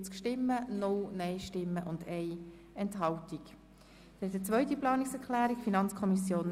Wir kommen zur zweiten Planungserklärung der FiKo.